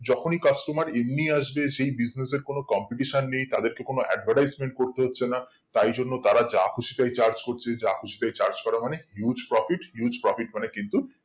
যখনি customer এমনি আসবে সেই business এর কোনো competition নেই তাদের কে কোনো advertisement করতে হচ্ছে না তাই জন্য তারা যা খুশি তাই charge করছে যা খুশি তাই charge করা মানে huge profit huge profit মানে কিন্তু